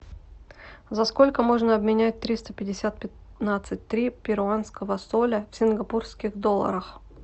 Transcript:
за сколько можно обменять триста пятьдесят пятнадцать три перуанского соля в сингапурских долларах